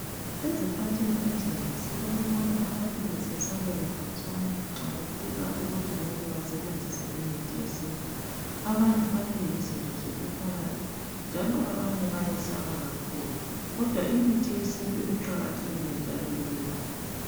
Ezikhathini ezinengi silokubona abantu besesabela khatshana nxa kufika ukuthi mele basebenzise imithi yesintu. Abanye bathi yizinto zobuthakathi njalo abanye bayesaba kakhulu kodwa imithi yesintu iqakathekile njalo iyelapha.